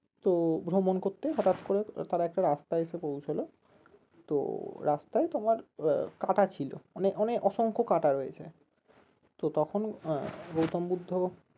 তো ভ্রমণ করতে হঠাৎ করে তারা একটা রাস্তায় এসে পৌঁছলো তো রাস্তায় তোমার কাটা ছিল অনেক অনেক অসংখ্য কাটা রয়েছে তো তখন আহ গৌতম বুদ্ধ